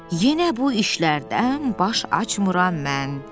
Yenə bu işlərdən baş açmıram mən.